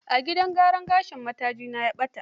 A gidan gyaran gashin matajinta ya ɓata.